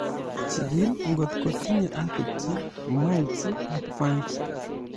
Jikil ngotkotinye aphids, mites ak fungi